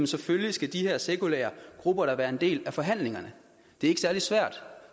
selvfølgelig skal de her sekulære grupper da være en del af forhandlingerne det er ikke særlig svært